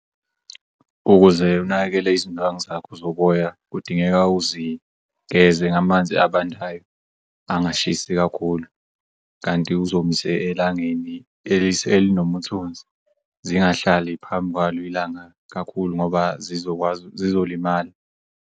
Ukuze unakekele izindwangu zakho zoboya kudingeka uzigeze ngamanzi abandayo angashisi kakhulu kanti uzomise elangeni elinomthunzi zingahlali phambi kwalo ilanga kakhulu ngoba zizolimala.